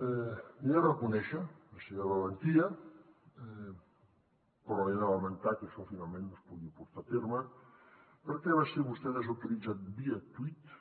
li he de reconèixer la seva valentia però he de lamentar que això finalment no es pugui portar a terme perquè va ser vostè desautoritzat via tuit